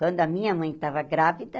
Quando a minha mãe estava grávida,